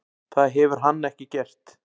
Það hefur hann ekki gert.